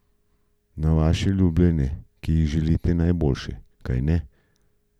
Na vaše ljubljene, ki jim želite najboljše, kajne?